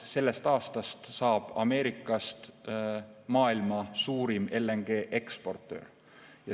Sellest aastast saab Ameerikast maailma suurim LNG eksportöör.